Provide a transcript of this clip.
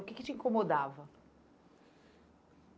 O que que te incomodava?